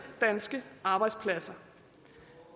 danske arbejdspladser